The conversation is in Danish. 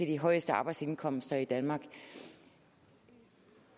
de højeste arbejdsindkomster i danmark